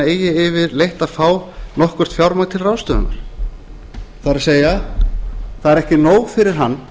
eigi yfirleitt að fá nokkurt fjármagn til ráðstöfunar það er það er ekki nóg fyrir hann